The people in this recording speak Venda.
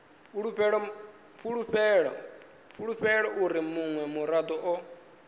fulufhela uri munwe murado o